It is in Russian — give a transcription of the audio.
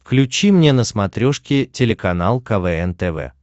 включи мне на смотрешке телеканал квн тв